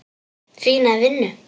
Fína vinnu.